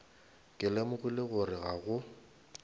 ke lemogile gore ga go